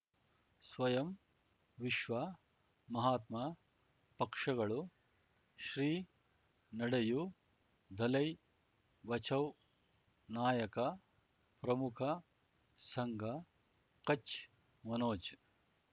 ಸ್ವಯಂ ವಿಶ್ವ ಮಹಾತ್ಮ ಪಕ್ಷಗಳು ಶ್ರೀ ನಡೆಯೂ ದಲೈ ಬಚೌ ನಾಯಕ ಪ್ರಮುಖ ಸಂಘ ಕಚ್ ಮನೋಜ್